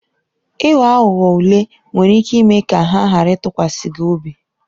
Ịghọ aghụghọ ule nwere ike ime ka ha ghara ịtụkwasị gị obi.